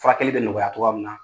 Furakɛli bɛ nɔgɔya cogoya min na.